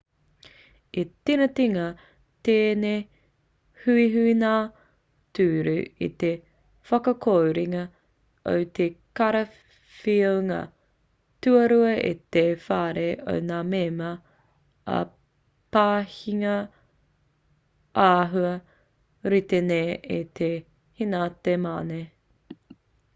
i tīningia tēnei huihuinga ture i te whakakorenga o te karawhiunga tuarua e te whare o ngā mema ā i pāhingia āhua rite nei e te henate mane